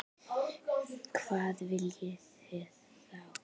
Hvað viljum við þá?